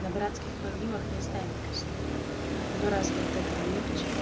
на братских могилах не ставят крестов но разве от этого легче